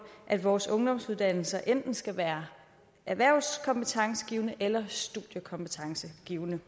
at vores ungdomsuddannelser enten skal være erhvervskompetencegivende eller studiekompetencegivende